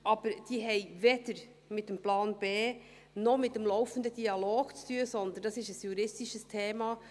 Aber diese haben weder mit dem Plan B, noch mit dem laufenden Dialog zu tun, sondern das ist ein juristisches Thema.